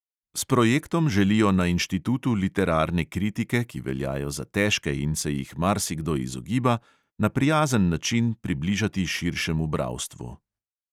S projektom želijo na inštitutu literarne kritike, ki veljajo za težke in se jih marsikdo izogiba, na prijazen način približati širšemu bralstvu.